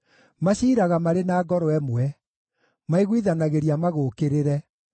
Maciiraga marĩ na ngoro ĩmwe; maiguithanagĩria magũũkĩrĩre: